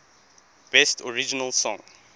best original song